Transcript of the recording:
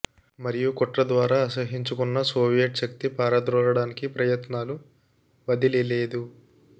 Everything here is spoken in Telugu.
మరియు కుట్ర ద్వారా అసహ్యించుకున్న సోవియట్ శక్తి పారద్రోలడానికి ప్రయత్నాలు వదిలి లేదు